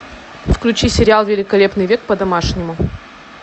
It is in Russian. включи сериал великолепный век по домашнему